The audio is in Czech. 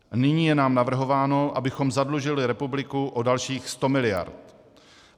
Nyní je nám navrhováno, abychom zadlužili republiku o dalších 100 mld.